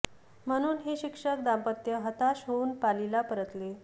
म्हणून हे शिक्षक दाम्पत्य हताश होऊन पालीला परतले